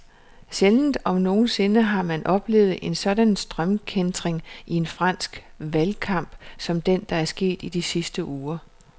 Sjældent om nogen sinde har man oplevet en sådan strømkæntring i en fransk valgkamp som den, der er sket i de sidste uger.